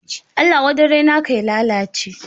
Allah wadarai naka ya lalace